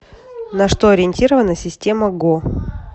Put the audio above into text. на что ориентирована система го